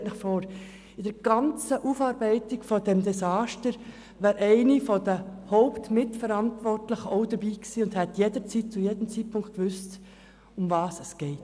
Stellen Sie sich vor, bei der ganzen Aufarbeitung dieses Desasters wäre eine der Hauptmitverantwortlichen auch dabei gewesen und hätte zu jedem Zeitpunkt gewusst, worum es geht.